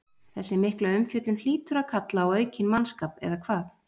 Þessi mikla umfjöllun hlýtur að kalla á aukinn mannskap, eða hvað?